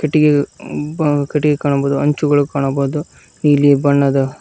ಕಟ್ಟಿಗೆ ಒಬ್ಬ ಕಟ್ಟಿಗೆ ಕಾಣಬಹುದು ಅಂಚುಗಳು ಕಾಣ್ಬಹುದು ನೀಲಿ ಬಣ್ಣದ--